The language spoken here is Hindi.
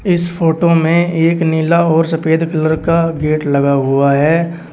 इस फोटो में एक नीला और सफेद कलर का गेट लगा हुआ है।